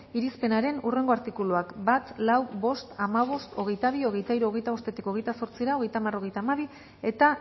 irizpenaren hurrengo artikuluak bat lau bost hamabost hogeita bi hogeita hiru hogeita bosttik hogeita zortzira hogeita hamar hogeita hamabi eta